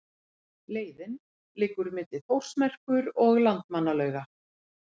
Leiðin liggur milli Þórsmerkur og Landmannalauga.